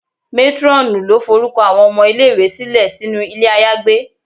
Matronù lo forukọ awọn ọmọ ile-iwe silẹ sinu ilé ayagbé.